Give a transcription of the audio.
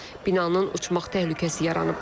Binanın uçmaq təhlükəsi yaranıb.